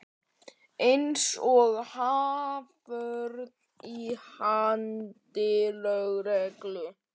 Eins og haförn í haldi lögreglu.